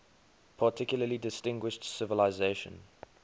particularly distinguished civilization